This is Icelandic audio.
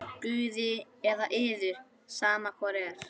Guði eða yður, sama hvor er!